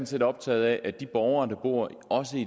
set optaget af at de borgere der bor